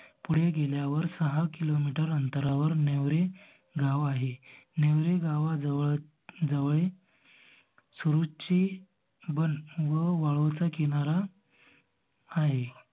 पुढे गेल्यावर सहा किलोमीटर अंतरावर नेवरे गाव आहे. नेवरे गावाजवळच जवळे सुरूच्चि बन व वाळूचा किनारा आहे.